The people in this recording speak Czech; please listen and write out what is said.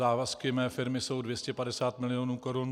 Závazky mé firmy jsou 250 milionů korun.